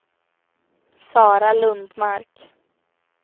Sara Lundmark